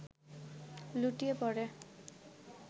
লুটিয়ে পড়ে